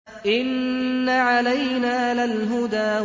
إِنَّ عَلَيْنَا لَلْهُدَىٰ